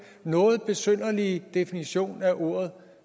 noget besynderlige definition af ordet